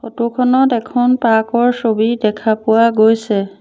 Photo খনত এখন truck ৰ ছবি দেখা পোৱা গৈছে।